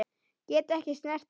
Get ekki snert hana.